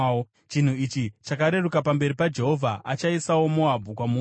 Chinhu ichi chakareruka pamberi paJehovha; achaisawo Moabhu kwamuri.